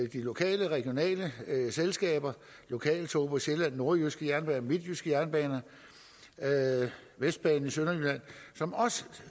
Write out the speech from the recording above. de lokale regionale selskaber lokale tog på sjælland nordjyske jernbaner midtjyske jernbaner vestbanen i sønderjylland som også